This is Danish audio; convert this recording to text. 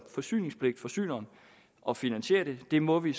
forsyningspligtforsyneren at finansiere det det må vi